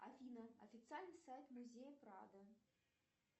афина официальный сайт музея прада